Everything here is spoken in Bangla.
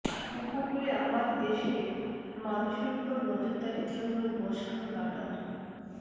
উপকূলে আমার দেশের মানুষের ওপর নজরদারির জন্য বসানো রাডার